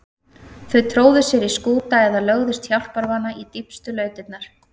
Þau tróðu sér í skúta eða lögðust hjálparvana í dýpstu lautirnar.